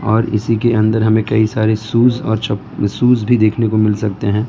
और इसी के अंदर हमें कई सारे शूज और च शूज भी देखने को मिल सकते हैं।